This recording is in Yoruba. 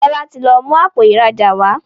Fola tí lọ mú Àpò ìrajà wá.